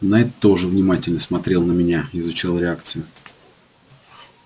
найд тоже внимательно смотрел на меня изучал реакцию